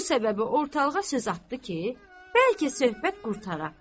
Bu səbəbi ortalığa söz atdı ki, bəlkə söhbət qurtara.